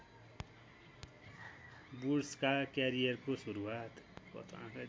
वुड्सका क्यारियरको सुरुवात